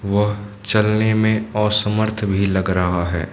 वह चलने में असमर्थ भी लग रहा है।